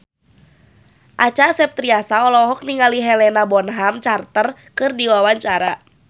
Acha Septriasa olohok ningali Helena Bonham Carter keur diwawancara